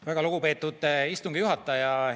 Väga lugupeetud istungi juhataja!